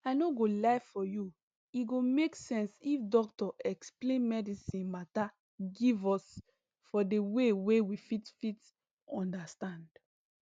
i no go lie for you e go make sense if doctor explain medicine mata give us for de way wey we fit fit understand